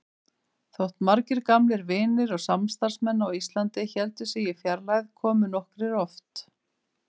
Þótt margir gamlir vinir og samstarfsmenn á Íslandi héldu sig í fjarlægð komu nokkrir oft.